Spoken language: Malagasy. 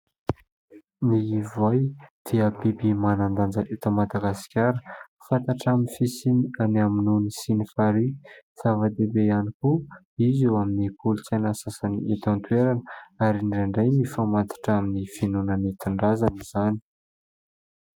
Ny voay dia biby manan-danja avy eto Madagasikara fantatra amin'ny fisiany any amin'ny ony sy ny farihy. Zava-dehibe ihany koa izy eo amin'ny kolontsaina sasany eto an-toerana ary ny indraindray mifamatotra amin'ny finoana nentin-drazana izany.